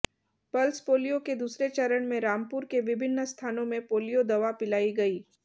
pulse polio के दूसरे चरण में रामपुर के विभिन्न स्थानों में पोलियो दवा पिलाई गई